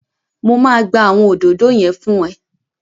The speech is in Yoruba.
Mo máa gbá àwọn òdòdó yẹn fún ẹ